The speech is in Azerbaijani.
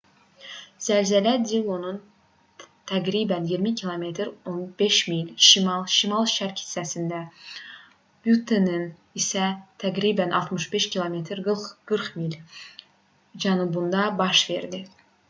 zəlzələ dillonun təqribən 20 km 15 mil şimal şimal-şərq hissəsində buttenin isə təqribən 65 km 40 mil cənubunda baş verdi